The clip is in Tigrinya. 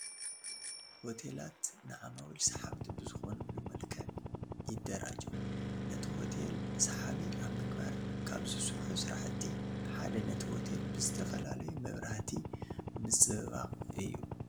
ሆቴላት ንዓማዊል ሰሓብቲ ብዝኾንሉ መልክዕ ይደራጀው፡፡ ነቲ ሆቴል ሰሓቢ ኣብ ምግባር ካብ ዝስርሑ ስራሕቲ ሓደ ነቲ ሆቴል ብዝተፈላለዩ መብራህቲ ምፅብባቕ እዩ፡፡